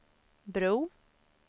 bro